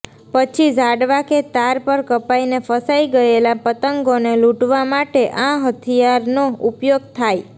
પછી ઝાડવા કે તાર પર કપાઈને ફસાઈ ગયેલા પતંગોને લૂંટવા માટે આ હથિયારનો ઉપયોગ થાય